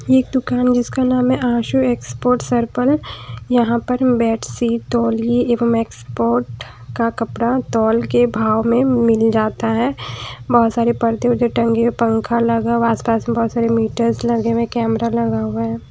एक दुकान जिसका नाम है आशु एक्सपोर्ट सर्कल यहां पर बेडशीट तौलि एवं मैक्सपोर्ट का कपड़ा तौल के भाव में मिल जाता है बहोत सारे पर्दे वरदे टंगे पंखा लगा हुआ आस पास बहोत सारे मीटर लगे हुए कैमरा लगा हुआ है।